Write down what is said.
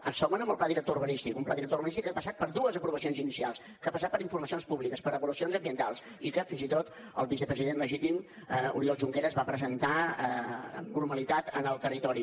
el segon amb el pla director urbanístic un pla director urbanístic que ha passat per dues aprovacions inicials que ha passat per informacions públiques per avaluacions ambientals i que fins i tot el vicepresident legítim oriol junqueras va presentar amb normalitat al territori